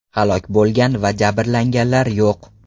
Halok bo‘lgan va jabrlanganlar yo‘q.